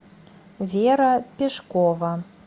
вера пешкова